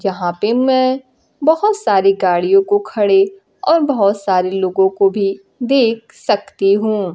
यहां पे मैं बहुत सारी गाड़ियों को खड़े और बहुत सारे लोगों को भी देख सकती हूं।